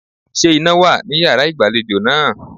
Ṣé iná wà ní yàrá ìgbàlejò náà?